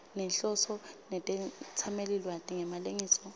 nenhloso netetsamelilwati ngemalengiso